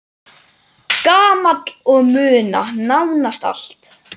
Gamall og muna nánast allt.